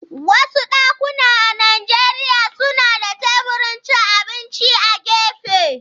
Wasu dakuna a Najeriya suna da teburin cin abinci a gefe.